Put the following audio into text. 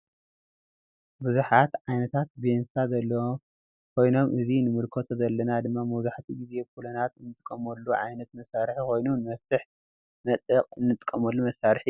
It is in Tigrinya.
ቡዝሐት ዓይነታት ቤንሳ ዘለው ኮይኖም እዚ ንምልኮቶ ዘለና ድማ መብዛሕቱኡ ግዜ ቡለናት አንጥቀመሉ ዓይነት መሳርሒኮይኑ ንመፍትሕን መጥበቅ እንጥቀመሉ መሳርሒ እዮ ።